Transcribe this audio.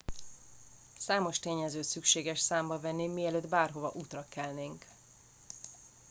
számos tényezőt szükséges számba venni mielőtt bárhova útra kelnénk